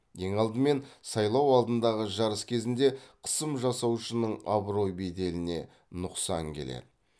ең алдымен сайлау алдындағы жарыс кезінде қысым жасаушының абырой беделіне нұқсан келеді